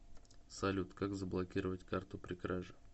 салют как заблокировать карту при краже